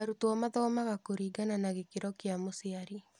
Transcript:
Arutwo mathomaga kũringana na gĩkĩro kĩa mũciari.